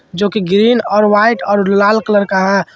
जो कि ग्रीन और वाइट और लाल कलर का है ।